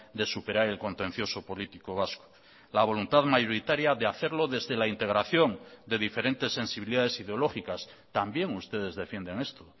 de superar el contencioso político vasco la voluntad mayoritaria de hacerlo desde la integración de diferentes sensibilidades ideológicas también ustedes defienden esto